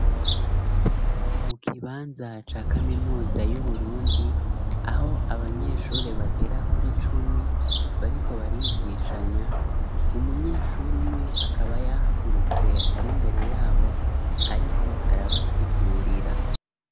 Mu kibanza ca kaminuza y'uburundi aho abanyesure bagera kuri cumi bariko barigishanya, umunyeshure umwe akaba yahagurutse ari mbere yabo ariko arabasigurira.